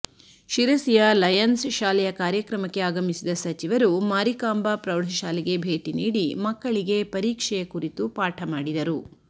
ಶಿರಸಿಯ Lions ಶಾಲೆಯ ಕಾರ್ಯಕ್ರಮಕ್ಕೆ ಆಗಮಿಸಿದ ಸಚಿವರು ಮಾರಿಕಾಂಬಾ ಪ್ರೌಢಶಾಲೆಗೆ ಭೇಟಿ ನೀಡಿ ಮಕ್ಕಳಿಗೆ ಪರೀಕ್ಷೆಯ ಕುರಿತು ಪಾಠ ಮಾಡಿದರು